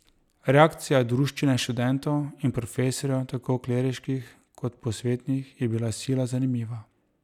Reakcija druščine študentov in profesorjev, tako kleriških kot posvetnih, je bila sila zanimiva.